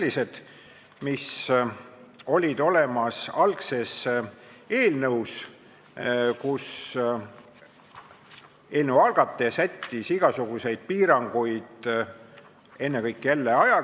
Eks siin ole sellist tuunimist ja ilutsemist, see puudutab ennekõike tervishoiuteenuste korraldamise seadust, kus on ikka sellist viimast lihvimist, ja kui nüüd ka ei suudeta isikuandmeid töödelda, siis mina ei tea, mis seal veel puudu on.